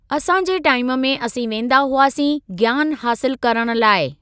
असां जे टाइम में असीं वेंदा हुआसीं ज्ञान हासिलु करण लाइ।